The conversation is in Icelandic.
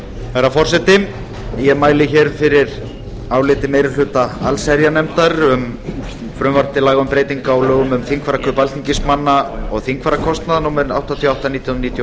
herra forseti ég mæli hér fyrir áliti meiri hluta allsherjarnefndar um frumvarp um frumvarp til laga breytingu á lögum um þingfararkaup alþingismanna og þingfararkostnað númer áttatíu og átta nítján hundruð níutíu og